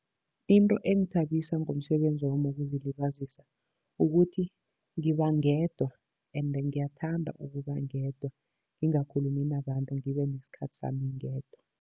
Into engithabisa ngomsebenzi wami wokuzilibazisa, ukuthi ngiba ngedwa ende ngiyathanda ukuba ngedwa, ngingakhulumi nabantu ngibe nesikhathi sami ngedwa.